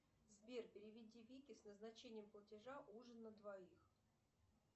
сбер переведи вике с назначением платежа ужин на двоих